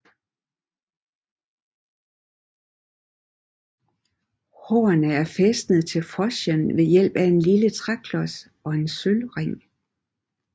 Hårene er fæstnet til froschen ved hjælp af en lille træklods og en sølvring